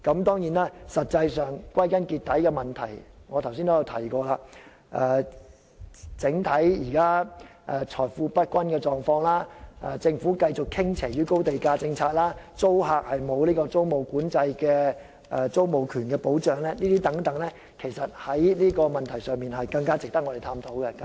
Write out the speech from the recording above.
當然，歸根究底，正如我剛才提及，現時財富不均的整體狀況、政府繼續實行高地價政策、租客沒有租務管制的租住權保障等問題，其實更值得我們探討。